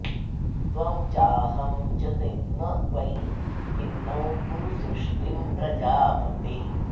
त्वं चाहं च न वै भिन्नौ कुरु सृष्टिं प्रजापते